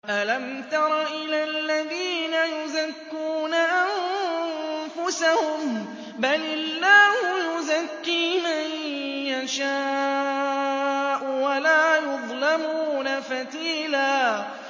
أَلَمْ تَرَ إِلَى الَّذِينَ يُزَكُّونَ أَنفُسَهُم ۚ بَلِ اللَّهُ يُزَكِّي مَن يَشَاءُ وَلَا يُظْلَمُونَ فَتِيلًا